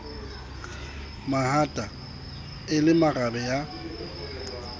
mahata e le marabe ya